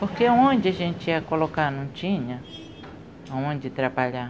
Porque onde a gente ia colocar? Não tinha aonde trabalhar.